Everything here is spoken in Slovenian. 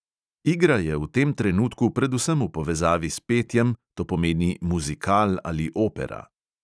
Igra je v tem trenutku predvsem v povezavi s petjem, to pomeni muzikal ali opera.